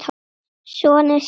sonur, Siggi.